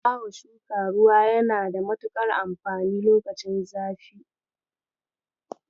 Bawa shuka ruwa yana da matuƙar amfani lokacin zafi.